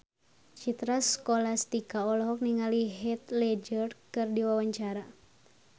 Citra Scholastika olohok ningali Heath Ledger keur diwawancara